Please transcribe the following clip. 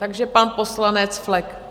Takže pan poslanec Flek.